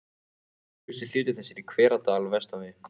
Öflugasti hluti þess er í Hveradal vestan við